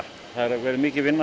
það verður mikil vinna